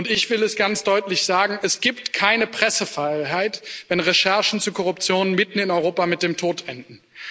Ich will es ganz deutlich sagen Es gibt keine Pressefreiheit, wenn Recherchen zu Korruption mitten in Europa mit dem Tod enden.